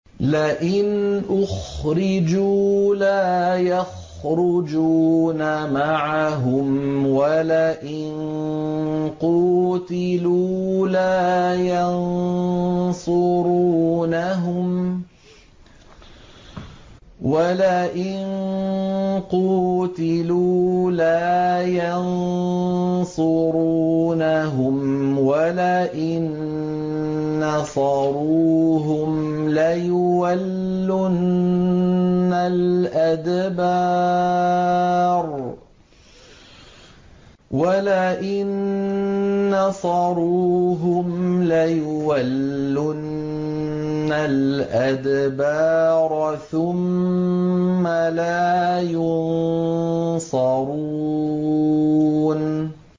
لَئِنْ أُخْرِجُوا لَا يَخْرُجُونَ مَعَهُمْ وَلَئِن قُوتِلُوا لَا يَنصُرُونَهُمْ وَلَئِن نَّصَرُوهُمْ لَيُوَلُّنَّ الْأَدْبَارَ ثُمَّ لَا يُنصَرُونَ